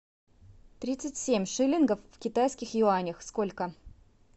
тридцать семь шиллингов в китайских юанях сколько